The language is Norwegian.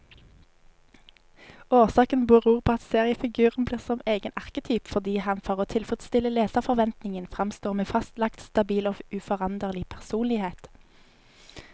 Årsaken beror på at seriefiguren blir som egen arketyp, fordi han for å tilfredstille leserforventningen framstår med fastlagt, stabil og uforanderlig personlighet.